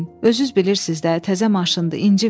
Özünüz bilirsiz də, təzə maşındı inciməyin.